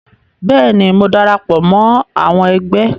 Bẹ́ẹ̀ ni, mo darapọ̀ mọ́ àwọn ẹgbẹ́